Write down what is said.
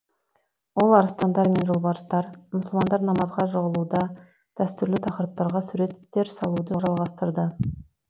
ол арыстандар мен жолбарыстар мұсылмандар намазға жығылуда дәстүрлі тақырыптарға суреттер салуды жалғастырды